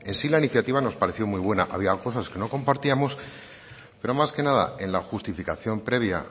sí la iniciativa nos pareció muy buena había cosas que no compartíamos pero más que nada en la justificación previa